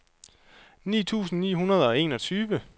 ni tusind ni hundrede og enogtyve